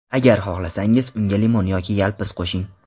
Agar xohlasangiz, unga limon yoki yalpiz qo‘shing.